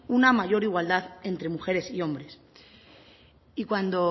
una mayor igualdad entre mujeres y hombres y cuando